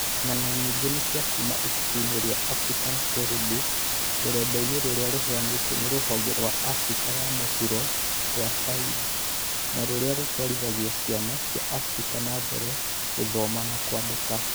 Ng'ano nyingĩ nĩ cia kuuma ibuku-inĩ rĩa African Storybook - rũrenda-inĩ rũrĩa rũheanĩtwo nĩ rũhonge rwa Afrika ya Mũhuro rwa Saide, rũrĩa rũtwarithagia ciana cia Abirika na mbere gũthoma na kwandĩka.